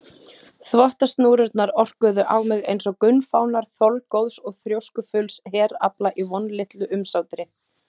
Þvottasnúrurnar orkuðu á mig einsog gunnfánar þolgóðs og þrjóskufulls herafla í vonlitlu umsátri.